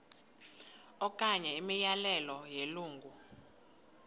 okanye imiyalelo yelungu